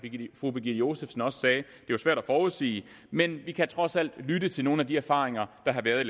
fru birgitte josefsen også sagde svært at forudsige men vi kan trods alt lytte til nogle af de erfaringer der har været